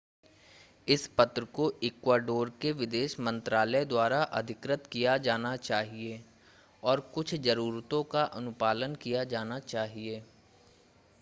इस पत्र को इक्वाडोर के विदेश मंत्रालय द्वारा अधिकृत किया जाना चाहिए और कुछ ज़रूरतों का अनुपालन किया जाना चाहिए